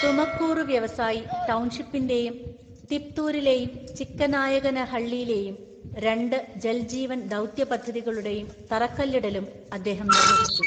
തുമക്കൂറു വ്യാവസായി ടൗൺഷിപ്പിന്റെയും തിപ്തൂരിലെയും ചിക്കനായകനഹള്ളിയിലെയും രണ്ട് ജൽ ജീവൻ ദൗത്യ പദ്ധതികളുടെയും തറക്കല്ലിടലും അദ്ദേഹം നിർവഹിച്ചു.